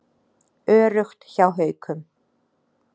Öruggt hjá Haukum